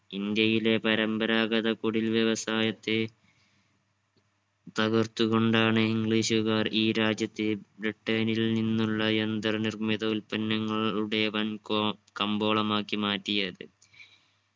ഇന്ത്യയിലെ പരമ്പരാഗത കുടിൽ വ്യവസായത്തെ തകർത്തു കൊണ്ടാണ് english കാർ ഈ രാജ്യത്തെ ബ്രിട്ടനിൽ നിന്നുള്ള യന്ത്ര നിർമ്മിത ഉത്പന്നങ്ങളുടെ വൻ കൊ കമ്പോളമാക്കി മാറ്റിയത്.